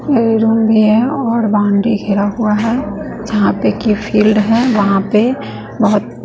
play ground भी है और बाउंड्री घेरा हुआ है यहां पे कि ये फील्ड है यहां पे बहुत--